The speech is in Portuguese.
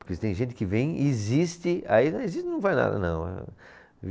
Porque se tem gente que vem, existe, aí não existe, vai nada não.